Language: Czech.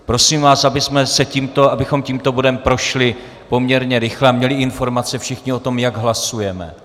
Prosím vás, abychom tímto bodem prošli poměrně rychle a měli informace všichni o tom, jak hlasujeme.